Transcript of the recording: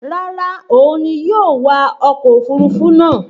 Rárá, òun ni yóò wa ọkọ̀ òfurufú náà